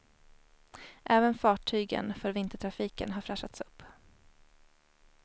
Även fartygen för vintertrafiken har fräschats upp.